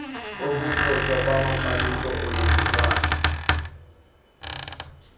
ukuthotywa kwamaxabiso othungelwano